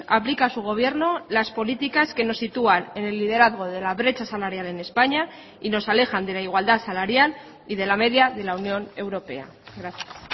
aplica su gobierno las políticas que nos sitúan en el liderazgo de la brecha salarial en españa y nos alejan de la igualdad salarial y de la media de la unión europea gracias